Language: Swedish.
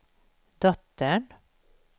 dottern